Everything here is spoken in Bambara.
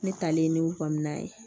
Ne talen ne bamu na ye